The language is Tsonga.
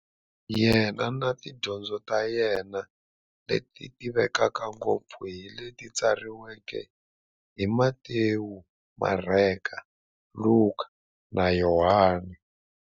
Yena na tidyondzo ta yena, leti tivekaka ngopfu hi leti tsariweke hi-Matewu, Mareka, Luka, na Yohani.